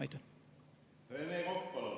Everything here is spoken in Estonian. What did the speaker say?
Rene Kokk, palun!